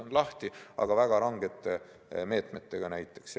On lahti, aga väga rangete meetmetega näiteks.